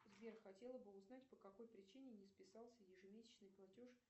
сбер хотела бы узнать по какой причине не списался ежемесячный платеж